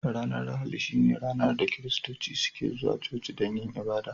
Ranar Lahadi shine ranar da kiristoci suke zuwa cuci dan yin abada.